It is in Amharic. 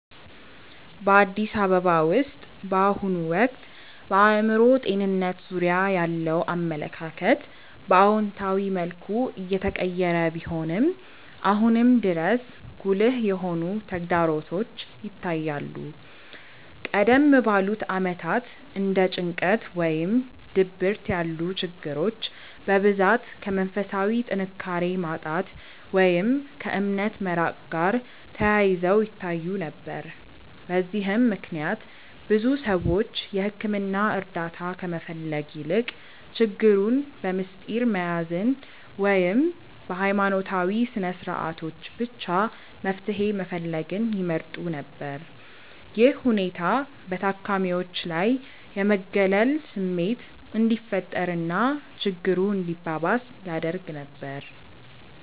በአዲስ አበባ ውስጥ በአሁኑ ወቅት በአእምሮ ጤንነት ዙሪያ ያለው አመለካከት በአዎንታዊ መልኩ እየተቀየረ ቢሆንም፣ አሁንም ድረስ ጉልህ የሆኑ ተግዳሮቶች ይታያሉ። ቀደም ባሉት ዓመታት እንደ ጭንቀት ወይም ድብርት ያሉ ችግሮች በብዛት ከመንፈሳዊ ጥንካሬ ማጣት ወይም ከእምነት መራቅ ጋር ተያይዘው ይታዩ ነበር። በዚህም ምክንያት ብዙ ሰዎች የሕክምና እርዳታ ከመፈለግ ይልቅ ችግሩን በምስጢር መያዝን ወይም በሃይማኖታዊ ስነስርዓቶች ብቻ መፍትሄ መፈለግን ይመርጡ ነበር። ይህ ሁኔታ በታካሚዎች ላይ የመገለል ስሜት እንዲፈጠር እና ችግሩ እንዲባባስ ያደርግ ነበር።